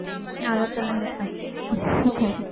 அதை சொல்லுங்கக்கா